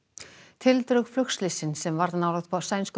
tildrög flugslyssins sem varð nálægt sænsku